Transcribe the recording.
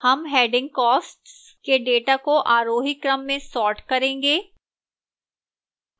हम heading costs के data को आरोही क्रम में sort करेंगे